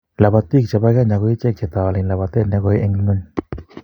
Lobotii che bo Kenya ko icheek chetowolani labatee ne koi eng ngony.